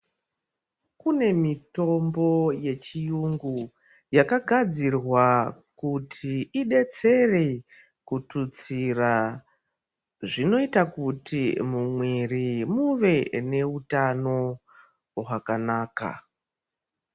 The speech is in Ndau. Kune mitombo yechirungu yakagadzirwa kuti idetsere kuthutsira zvinoita kuti mumwiri muve neutano hwakanaka.